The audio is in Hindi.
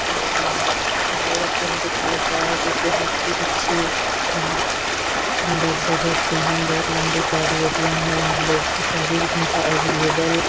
ए.टी.एम. दिखाई बायो ए.टी.एम. दिखाया गया है जो की बेहद ही अच्छी और सुंदर जगह पे है । बहुत लम्बी- चौड़ी ए.टी.एम. है और लोग चौबीस घंटा अवेलेबल --